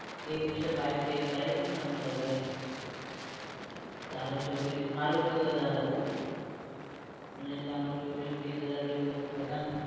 એ દિવસે file check કરાઈતી ને અમે લોકોએ ત્યારે ચોવીસ મારું ચૌદ હજાર હતું પુનિતલાલ ચોવીસ બીસ હજાર જેવું હતું બધા ને